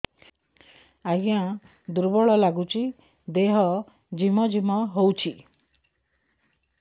ଆଜ୍ଞା ଦୁର୍ବଳ ଲାଗୁଚି ଦେହ ଝିମଝିମ ହଉଛି